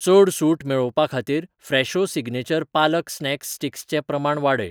चड सूट मेळोवपाखातीर Fresho signature palak snack sticks चें प्रमाण वाडय.